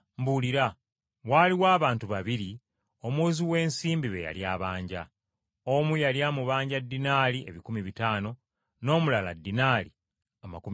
“Waaliwo abantu babiri, omuwozi w’ensimbi be yali abanja. Omu yali amubanja ddinaali ebikumi bitaano, n’omulala ddinaali amakumi ataano.